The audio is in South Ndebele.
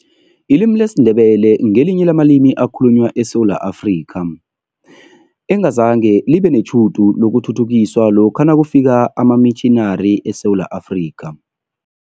Ilimi lesiNdebele ngelinye lamalimi ekhalunywa eSewula Afrika, engazange libe netjhudu lokuthuthukiswa lokha nakufika amamitjhinari eSewula Afrika.